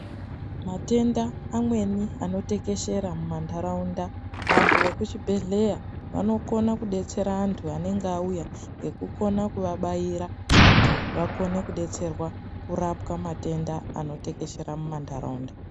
Matenda amweni anotekeshera mumantaraunda vantu vekucvibhedhleya vanokone kudetsera antu amweni anenge auya ngekukona kuvabaira kuti vakone kudetserwa kurapwa matenda akatekeshera mumantaraunda.